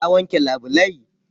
Ka wanke labulai?